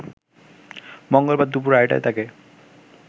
মঙ্গলবার দুপুর আড়াইটায় তাকে